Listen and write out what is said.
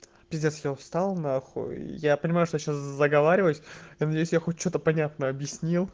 пиздец я устал на хуй я понимаю что сейчас заговариваюсь я надеюсь хоть что-то понятное объяснил